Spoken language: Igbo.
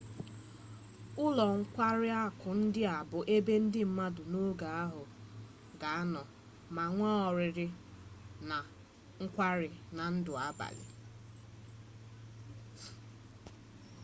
ụlọ nkwari akụ ndị a bụ ebe ndi bụ mmadụ n'oge ahụ ga-anọ ma nwee oriri na nkwari na ndụ abalị